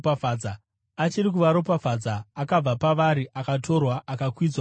Achiri kuvaropafadza, akabva pavari akatorwa akakwidzwa kudenga.